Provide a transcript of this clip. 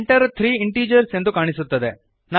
Enter three integers ಎಂದು ಕಾಣಿಸುತ್ತದೆ